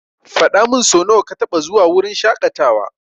Faɗamin sonawa ka taba zuwa wurin shaƙatawa.